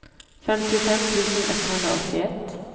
femtiofem tusen etthundraåttioett